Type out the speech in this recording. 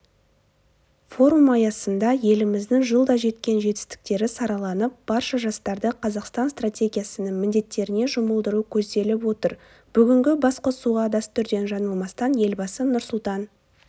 форум аясында еліміздің жылда жеткен жетістіктері сараланып барша жастарды қазақстан стратегиясының міндеттеріне жұмылдыру көзделіп отыр бүгінгі басқосуға дәстүрден жаңылмастан елбасы нұрсұлтан